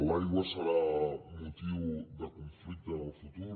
l’aigua serà motiu de conflicte en el futur